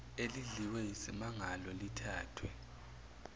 elidliwe yisimangalo lithathwe